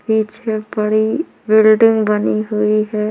बीच मे बड़ी बिल्डिंग बनी हुई हैं।